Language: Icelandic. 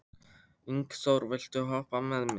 Ingþór, viltu hoppa með mér?